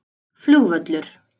Flugvöllur